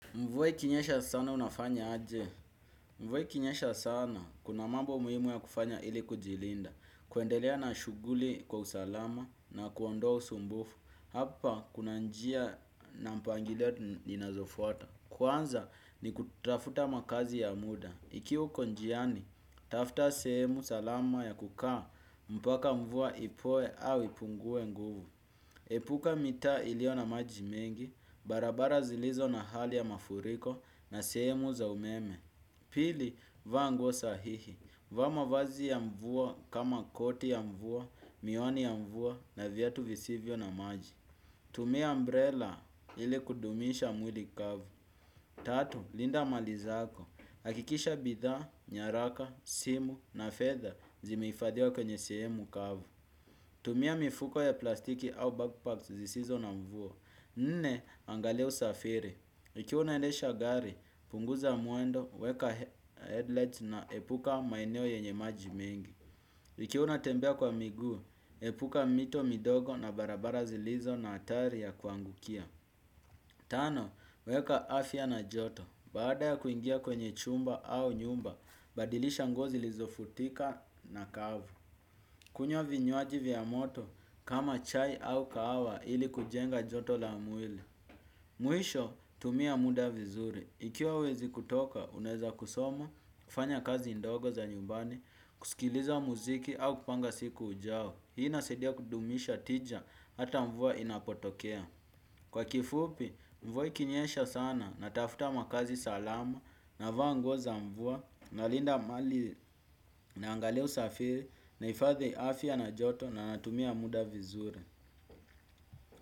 Mvua ikinyesha sana unafanya aje. Mvwe kinyesha sana. Kuna mambo muhimu ya kufanya ili kujilinda. Kuendelea na shughuli kwa usalama na kuondoa usumbufu. Hapa kuna njia na mpangilio ninazofuata. Kwanza ni kutafuta makazi ya muda. Ikiwa uko njiani, tafuta sehemu salama ya kukaa mpaka mvua ipoe au ipungue nguvu. Epuka mita iliyo na maji mengi, barabara zilizo na hali ya mafuriko na sehemu za umeme. Pili, vaa nguo sahihi. Vaa mavazi ya mvua kama koti ya mvua, miwani ya mvua na viatu visivyo na maji. Tumia umbrella ili kudumisha mwili kavu. Tatu, linda mali zako. Hakikisha bidhaa, nyaraka, simu na fedha zimehifadhiwa kwenye sehemu kavu. Tumia mifuko ya plastiki au bagpacks zisizo na mvua. Nne, angalia usafiri. Ikiwa unaendesha gari, punguza mwendo, weka headlights na epuka maeneo yenye maji mengi. Ikiwa unatembea kwa miguu, epuka mito midogo na barabara zilizo na hatari ya kuangukia. Tano, weka afya na joto. Baada ya kuingia kwenye chumba au nyumba, badilisha nguo zilizofutika na kavu. Kunywa vinywaji vya moto, kama chai au kahawa ili kujenga joto la mwili. Mwisho, tumia muda vizuri. Ikiwa huwezi kutoka, unaeza kusoma, kufanya kazi ndogo za nyumbani, kusikiliza muziki au kupanga siku ujao. Hii inasaidia kudumisha tija, hata mvua inapotokea. Kwa kifupi mvua ikinyesha sana natafuta makaazi salama navaa nguo za mvua nalinda mali naangalia usafiri nahifadhi afya na joto na natumia muda vizuri.